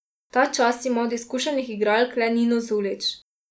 Ta čas ima od izkušenih igralk le Nino Zulić.